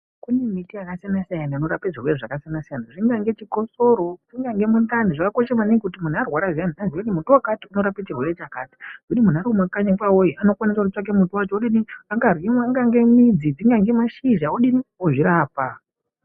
Kune miti yakasiyana siyana inorapa zvirwere zvakasiyana siyana zvingange chikosoro zvingange mundani zvakakosha maningi kuti mundu arwara zviyani aziye kuti muti wakati unorapa chirwere chakati zvekuti mundu arikumakanyi kwavo iyo anokwanisa kunotsvaka muti wacho dzingave midzi angave mashizha ozvirapa.